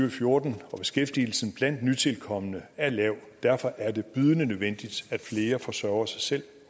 og fjorten og beskæftigelsen blandt nytilkomne er lav derfor er det bydende nødvendigt at flere forsørger sig selv